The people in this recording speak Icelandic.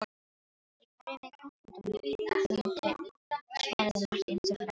Ég kæri mig kollóttan um tign, svaraði Marteinn þurrlega.